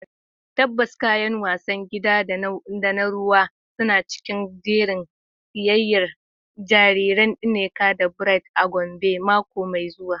Tabbas, kayan wasan gida da na ruwa suna cikin jerin siyayyar jariran Nneka da Bright a Gombe mako mai zuwa.